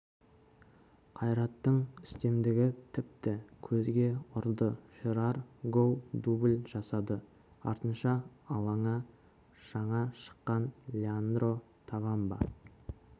қайраттың үстемдігі тіпті көзге ұрды жерар гоу дубль жасады артынша алаңа жаңа шыққан леандро тавамба